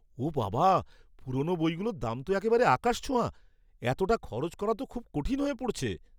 ওঃ বাবা! পুরনো বইগুলোর দাম তো একেবারে আকাশছোঁয়া। এতটা খরচ করা তো খুব কঠিন হয়ে পড়ছে।